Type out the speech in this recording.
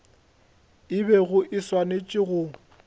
e bego e swanetše go